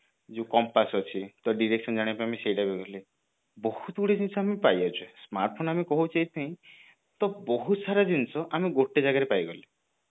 ଯୋଉ compass ଅଛି direction ଜାଣିବା ପାଇଁ ଆମେ use କରୁଥିଲେ ବହୁତ ଗୁଡିଏ ଜିନିଷ ଆମେ ପାଇ ଯାଉଛେ smartphone ଆମେ କହୁଛେ ଏଇଥି ପାଇଁ ତ ବହୁତ ସାରା ଜିନିଷ ଆମେ ଗୋଟେ ଜାଗାରେ ଆମେ ପାଇଗଲେ